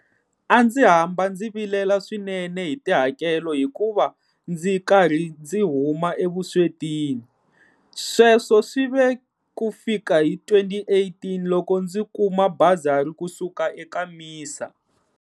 A ndzi hamba ndzi vilela swinene hi tihakelo hikuva ndzi karhi ndzi huma evuswetini. Sweswo swi ve ku fika hi 2018, loko ndzi kuma basari ku suka eka MISA.